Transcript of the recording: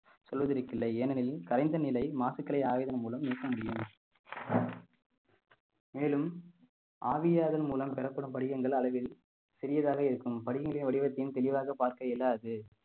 சொல்வதற்கு இல்லை ஏனெனில் கரைந்த நிலை மாசுக்களை ஆயுதம் மூலம் நீக்க முடியும் மேலும் ஆவியாதன் மூலம் பெறப்படும் படிகங்கள் அளவில் சிறியதாக இருக்கும் படிகங்களை வடிவத்தையும் தெளிவாக பார்க்க இயலாது